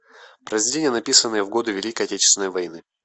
произведения написанные в годы великой отечественной войны